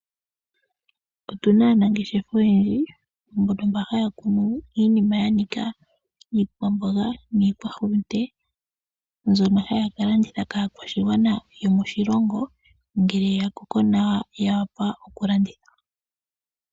Otu na aanangeshefa oyendji mbono haya kunu iinima ya nika iikwamboga niikwahulunde mbyono haya ka landitha kaakwashigwana yomoshilongo ngele ya koko nawa ya wapa okulandithwa.